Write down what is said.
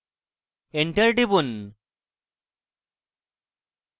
enter টিপুন